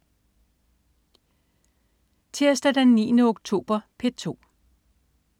Tirsdag den 9. oktober - P2: